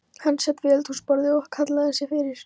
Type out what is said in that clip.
Hann sat við eldhúsborðið og hallaði sér yfir